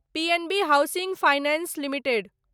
P N B Housing Finance limited